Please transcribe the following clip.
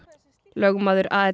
lögmaður